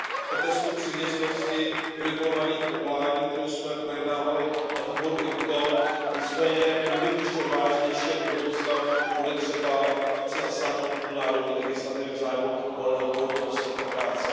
o testu přiměřenosti v regulovaných povoláních, kterou jsme projednávali na výboru IMCO, nicméně byl bych ještě odvážnější a do budoucna bude třeba více zasáhnout do národní legislativy v zájmu volného pohybu osob a práce.